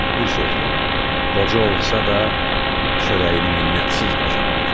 Bir sözlə, qoca olsa da, çörəyini minnətsiz qazanırdı.